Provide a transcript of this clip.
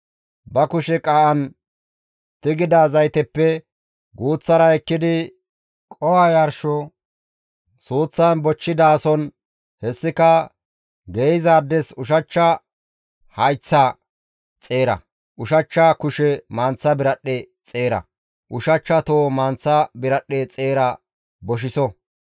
Ba kushe qaa7an tigida zayteppe guuththara ekkidi qoho yarsho suuththan bochchidaason hessika geeyzaades ushachcha hayththa xeera, ushachcha kushe manththa biradhdhe xeera, ushachcha toho manththa biradhdhe xeera boshiso.